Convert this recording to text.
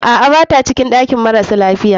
Aa, bata cikin ɗakin marasa lafiya.